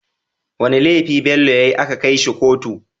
Wane lefi Bello yayi aka kai shi kotu?